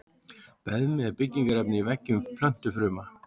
Beðmi er byggingarefni í veggjum plöntufruma.